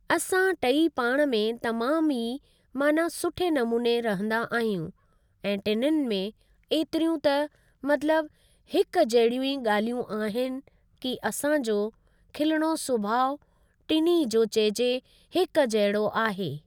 असां टेई पाण में तमाम ई माना सुठे नमूने रहंदा आहियूं ऐं टिनिन में ऐतिरियूं त मतिलबु हिकु जहिड़ियूं ई ॻाल्हियूं आहिनि की असां जो खिलणो सुभाउ टिनि जो चइजे हिक जहिड़ो आहे।